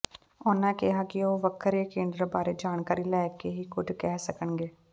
ਉਨ੍ਹਾਂ ਕਿਹਾ ਕਿ ਉਹ ਵੱਖਰੇ ਕੇਡਰ ਬਾਰੇ ਜਾਣਕਾਰੀ ਲੈ ਕੇ ਹੀ ਕੁਝ ਕਹਿ ਸਕਣਗੇ